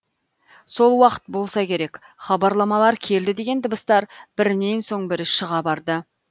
сол уақыт болса керек хабарламалар келді деген дыбыстар бірінен соң бірі шыға барды